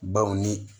Baw ni